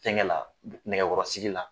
Fɛnkɛ la nɛgɛkɔrɔsigi la.